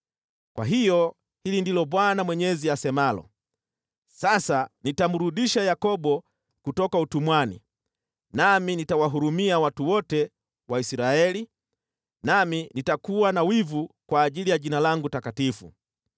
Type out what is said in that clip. “Kwa hiyo hili ndilo Bwana Mwenyezi asemalo: Sasa nitamrudisha Yakobo kutoka utumwani, nami nitawahurumia watu wote wa Israeli, nami nitakuwa na wivu kwa ajili ya Jina langu takatifu.